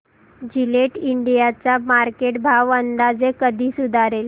Gillette India चा market भाव अंदाजे कधी सुधारेल